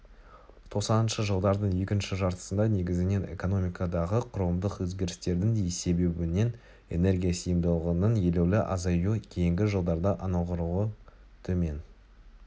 тоқсаныншы жылдардың екінші жартысында негізінен экономикадағы құрылымдық өзгерістердің себебінен энергия сиымдылығыынң елеулі азаюы кейінгі жылдарда анағұрлым төмен